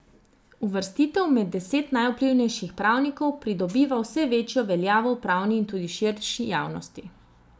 Uvrstitev med deset najvplivnejših pravnikov pridobiva vse večjo veljavo v pravni in tudi širši javnosti.